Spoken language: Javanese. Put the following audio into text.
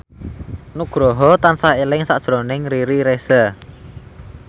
Nugroho tansah eling sakjroning Riri Reza